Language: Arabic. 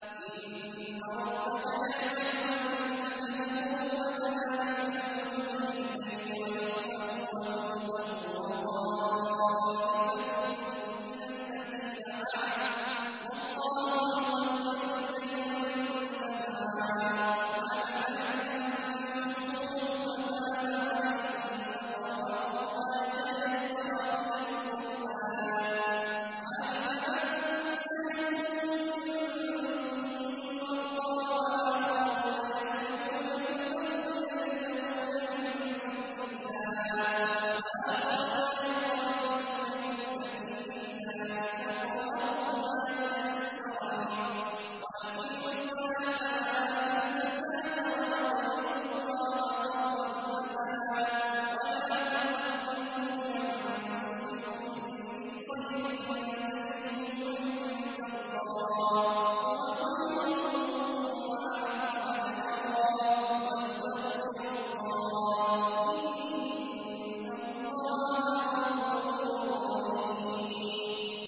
۞ إِنَّ رَبَّكَ يَعْلَمُ أَنَّكَ تَقُومُ أَدْنَىٰ مِن ثُلُثَيِ اللَّيْلِ وَنِصْفَهُ وَثُلُثَهُ وَطَائِفَةٌ مِّنَ الَّذِينَ مَعَكَ ۚ وَاللَّهُ يُقَدِّرُ اللَّيْلَ وَالنَّهَارَ ۚ عَلِمَ أَن لَّن تُحْصُوهُ فَتَابَ عَلَيْكُمْ ۖ فَاقْرَءُوا مَا تَيَسَّرَ مِنَ الْقُرْآنِ ۚ عَلِمَ أَن سَيَكُونُ مِنكُم مَّرْضَىٰ ۙ وَآخَرُونَ يَضْرِبُونَ فِي الْأَرْضِ يَبْتَغُونَ مِن فَضْلِ اللَّهِ ۙ وَآخَرُونَ يُقَاتِلُونَ فِي سَبِيلِ اللَّهِ ۖ فَاقْرَءُوا مَا تَيَسَّرَ مِنْهُ ۚ وَأَقِيمُوا الصَّلَاةَ وَآتُوا الزَّكَاةَ وَأَقْرِضُوا اللَّهَ قَرْضًا حَسَنًا ۚ وَمَا تُقَدِّمُوا لِأَنفُسِكُم مِّنْ خَيْرٍ تَجِدُوهُ عِندَ اللَّهِ هُوَ خَيْرًا وَأَعْظَمَ أَجْرًا ۚ وَاسْتَغْفِرُوا اللَّهَ ۖ إِنَّ اللَّهَ غَفُورٌ رَّحِيمٌ